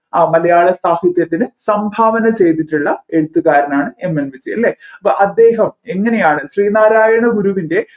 അ മലയാള സാഹിത്യത്തിന് സംഭാവന ചെയ്തിട്ടുള്ള എഴുത്ത്കാരനാണ് MN വിജയൻ അല്ലെ അപ്പോ അദ്ദേഹം എങ്ങനെയാണ് ശ്രീനാരായണ ഗുരുവിൻെറ